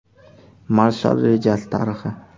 Marshall rejasi tarixi.